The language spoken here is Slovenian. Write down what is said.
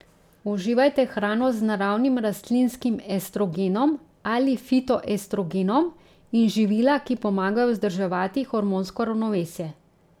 Uživajte hrano z naravnim rastlinskim estrogenom ali fitoestrogenom in živila, ki pomagajo vzdrževati hormonsko ravnovesje.